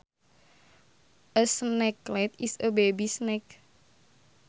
A snakelet is a baby snake